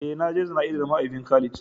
Eh na je jana'izar mahaifin Khalid.